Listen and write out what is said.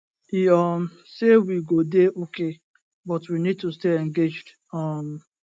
e um say we go dey okay but we need to stay engaged um